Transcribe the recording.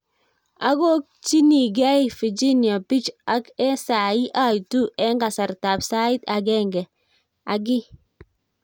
akokchiningei Virginia beach ak eng sai aitu eng kasartab saait agenge key